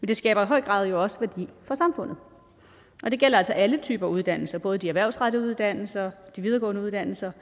det skaber i høj grad også værdi for samfundet og det gælder altså alle typer uddannelser både de erhvervsrettede uddannelser og de videregående uddannelser